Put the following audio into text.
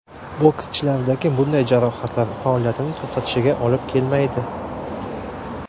Bokschilardagi bunday jarohatlar faoliyatini to‘xtatishiga olib kelmaydi.